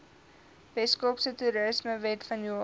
weskaapse toerismewet vanjaar